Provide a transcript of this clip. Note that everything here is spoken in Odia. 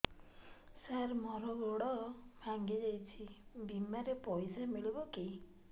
ସାର ମର ଗୋଡ ଭଙ୍ଗି ଯାଇ ଛି ବିମାରେ ପଇସା ମିଳିବ କି